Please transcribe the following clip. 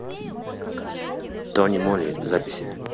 тони моли запись